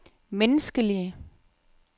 menneskelige